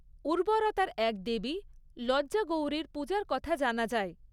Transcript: উর্বরতার এক দেবী লজ্জা গৌরীর পূজার কথা জানা যায়।